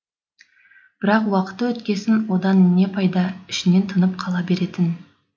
бірақ уақыты өткесін одан не пайда іштен тынып қала беретін